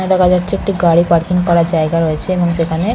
এখানে দেখা যাচ্ছে একটি গাড়ি পার্কিং করার জায়গা রয়েছে এবং সেখানে--